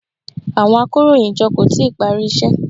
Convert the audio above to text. Àwọn akóròyìnjọ kò tíì parí iṣẹ́.